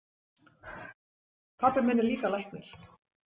Pabbi minn er líka læknir.